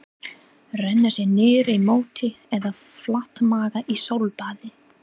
Renna sér niður í móti eða flatmaga í sólbaði?